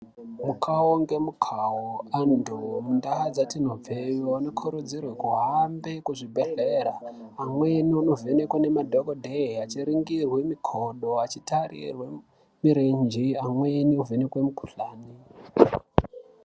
Mukawo nge mukawo antu mu ndau dzatinobve vano kurudzirwe ku hambe ku zvibhedhlera amweni ano vhenekwa ne madhokodheya achi ringirwe mikodo achi tarirwe mirenje amweni vhenekwe mu kuhlani.